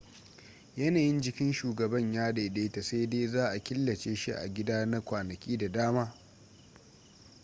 yanayin jikin shugaban ya daidaita sai dai za a killace shi a gida na kwanaki da dama